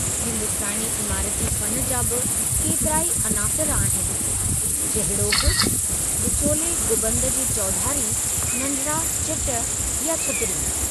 हिंदुस्तानी इमाराती फ़न जा बि केतिराई अनासिर आहिनि, जहिड़ोकि विचोले गुंबद जे चौधारी नंढिड़ा चिट या छतरियूं।